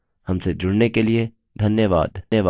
हमसे जुड़ने के लिए धन्यवाद